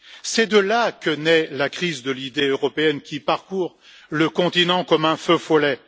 C'est de là que naît la crise de l'idée européenne qui parcourt le continent comme un feu follet.